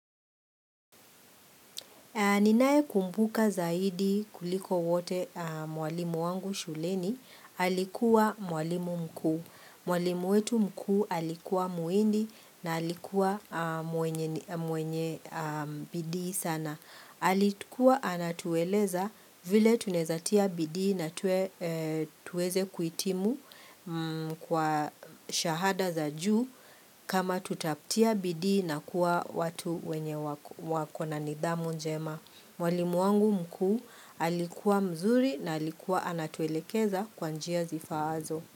Ninaye kumbuka zaidi kuliko wote mwalimu wangu shuleni, alikuwa mwalimu mkuu. Mwalimu wetu mkuu alikuwa muhindi na alikuwa mwenye bidii sana. Alikuwa anatueleza vile tunaeza tia bidii na tuweze kuitimu kwa shahada za juu kama tutatia bidii na kuwa watu wenye wako na nidhamu njema. Mwalimu wangu mkuu alikuwa mzuri na alikuwa anatuelekeza kwa njia zifaazo.